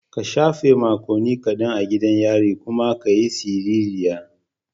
Kan shafe makonni kadan a gidan yari kuma ka yi siririya.